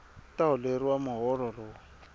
u ta holeriwa muholo lowu